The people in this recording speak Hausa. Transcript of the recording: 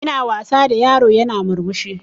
Ina wasa da yaro yana murmushi